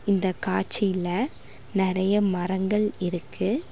இந்த காட்சில நறைய மரங்கள் இருக்கு.